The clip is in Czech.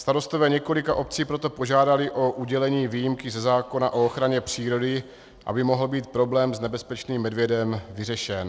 Starostové několika obcí proto požádali o udělení výjimky ze zákona o ochraně přírody, aby mohl být problém s nebezpečným medvědem vyřešen.